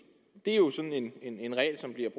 det er jo en regel som bliver